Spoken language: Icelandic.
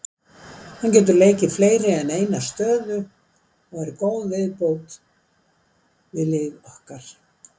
Hann getur leikið fleiri en eina stöðu og er góð viðbót við lið okkar.